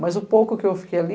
Mas o pouco que eu fiquei ali...